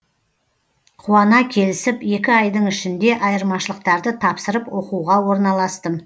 қуана келісіп екі айдың ішінде айырмашылықтарды тапсырып оқуға орналастым